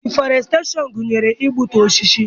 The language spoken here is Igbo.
Diforesteshon gụnyere igbutu osisi.